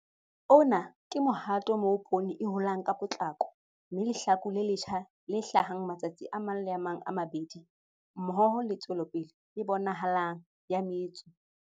Ona ke mohato moo poone holang ka potlako, mme lehlaku le letjha le hlahang matsatsing a mang le a mang a mabedi mmoho le tswelopele e bonahalang ya metso.